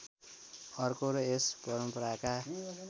अर्को र यस परम्पराका